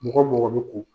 Mɔgɔ mɔgɔ bɛ ko